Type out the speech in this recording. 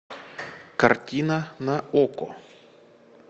картина на окко